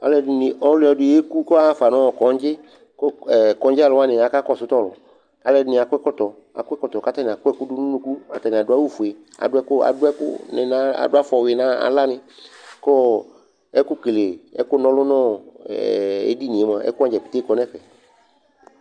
Alʋɛdɩni, ɔlɔdɩ yeku kʋ aɣa fa nʋ ɔ kɔŋdzɩ kʋ ɛ kɔŋdzɩalʋ wanɩ akakɔsʋ tʋ ɔlʋ Alʋɛdɩnɩ akɔ ɛkɔtɔ Akɔ ɛkɔtɔ kʋ atanɩ akɔ ɛkʋ dʋ nʋ unuku Atanɩ adʋ awʋfue adʋ ɛkʋ adʋ ɛkʋnɩ nʋ adʋ fɔyui nʋ aɣlanɩ kʋ ɔ ɛkʋkele, ɛkʋna ɔlʋ nʋ ɛ edini mʋa, ɛkʋ wanɩ dza keke kɔ nʋ ɛfɛ